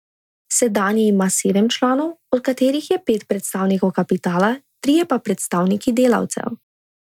Sedanji ima sedem članov, od katerih je pet predstavnikov kapitala, trije pa predstavniki delavcev.